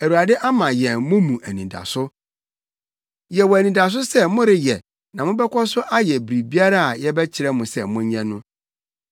Awurade ama yɛn mo mu anidaso. Yɛwɔ anidaso sɛ moreyɛ na mobɛkɔ so ayɛ biribiara a yɛbɛkyerɛ mo sɛ monyɛ no.